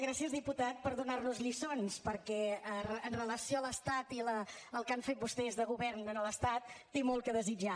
gràcies diputat per donarnos lliçons perquè amb relació a l’estat i el que han fet vostès de govern a l’estat té molt a desitjar